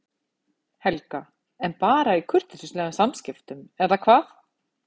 Helga: En bara í kurteisislegum samskiptum eða hvað?